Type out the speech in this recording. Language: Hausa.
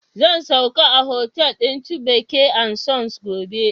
Zan sauka a hotal din Chibyke and Sons gobe